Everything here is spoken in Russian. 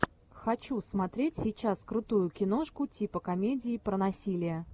хочу смотреть сейчас крутую киношку типа комедии про насилие